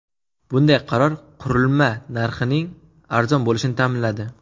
Bunday qaror qurilma narxining arzon bo‘lishini ta’minladi.